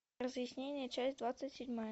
разъяснение часть двадцать седьмая